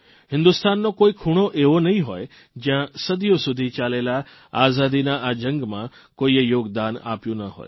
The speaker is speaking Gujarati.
હિંદુસ્તાનનો કોઇ ખૂણો એવો નહીં હોય જયાં સદીઓ સુધી ચાલેલા આઝાદીના આ જંગમાં કોઇએ યોગદાન આપ્યું ન હોય